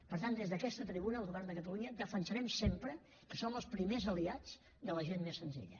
per tant des d’aquesta tribuna el govern de catalunya defensarem sempre que som els primers aliats de la gent més senzilla